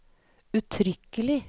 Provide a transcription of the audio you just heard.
uttrykkelig